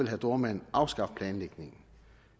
herre dohrmann afskaffe planlægningen